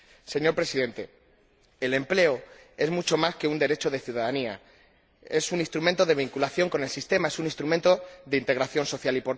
Señor Presidente, el empleo es mucho más que un derecho de ciudadanía, es un instrumento de vinculación con el sistema, es un instrumento de integración social.